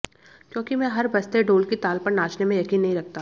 क्योंकि मैं हर बजते ढोल की ताल पर नाचने में यकीन नहीं रखता